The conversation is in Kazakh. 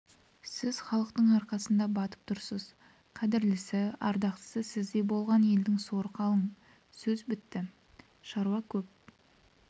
сіз халықтың арқасына батып тұрсыз қадірлісі ардақтысы сіздей болған елдің соры қалың сөз бітті шаруа көп